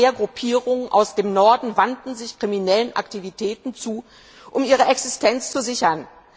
Immer mehr Gruppierungen aus dem Norden wandten sich kriminellen Aktivitäten zu, um ihre Existenz zu sichern.